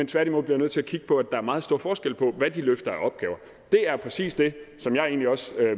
tværtimod nødt til at kigge på at der er meget stor forskel på hvad de løfter af opgaver det er præcis det som jeg egentlig også